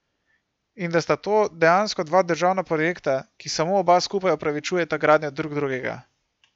In da sta to dejansko dva državna projekta, ki samo oba skupaj opravičujeta gradnjo drug drugega.